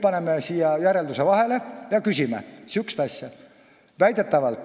Paneme nüüd siia järelduse vahele ja küsime sellist asja.